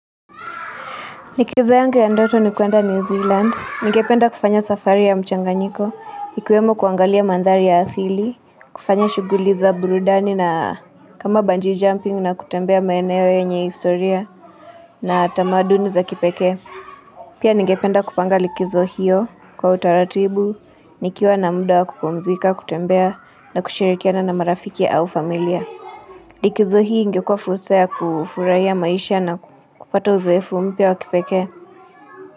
Likizo yangu ya ndoto ni kuenda ni New Zealand. Ningependa kufanya safari ya mchanganyiko. Ikiwemo kuangalia mandhari ya asili. Kufanya shughuli za burudani na kama bungee jumping na kutembea maeneo yenye historia. Na tamaduni za kipekee. Pia ningependa kupanga likizo hiyo kwa utaratibu. Nikiwa na muda wa kupumzika, kutembea na kushirikiana na marafiki au familia. Likizo hii ingekwa fursa ya kufurahia maisha na kupata uzoefu mpya wa kipekee.